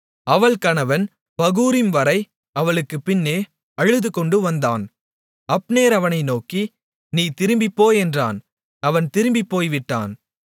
அவள் கணவன் பகூரிம்வரை அவளுக்கு பின்னே அழுதுகொண்டு வந்தான் அப்னேர் அவனை நோக்கி நீ திரும்பிப்போ என்றான் அவன் திரும்பிப் போய்விட்டான்